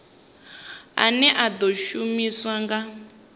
ane a ḓo shumiswa nga